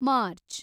March